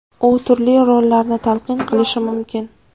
U turli rollarni talqin qilishi mumkin.